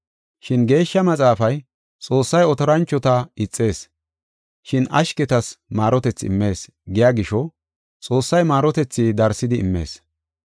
Shin Geeshsha Maxaafay, “Xoossay otoranchota ixees, shin bantana ashketas maarotethi immees” giya gisho, Xoossay maarotethi darsidi immees.